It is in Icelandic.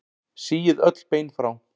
Síið öll bein frá.